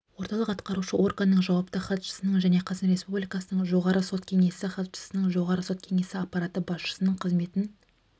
орталық атқарушы органның жауапты хатшысының және қазақстан республикасының жоғары сот кеңесі хатшысының жоғары сот кеңесі аппараты басшысының қызметін